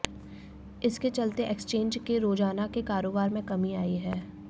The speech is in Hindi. इसके चलते एक्सचेंज के रोजाना के कारोबार में कमी आई है